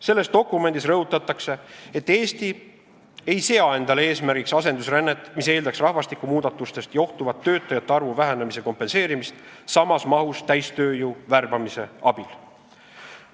Selles dokumendis rõhutatakse, et Eesti ei sea endale eesmärgiks asendusrännet, mis eeldaks rahvastiku muutumisest johtuvat töötajate arvu vähenemise kompenseerimist samas mahus täistööjõu värbamise abil.